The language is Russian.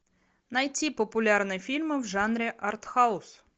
найти популярные фильмы в жанре арт хаус